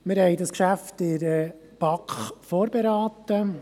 Wir haben dieses Geschäft in der BaK vorberaten.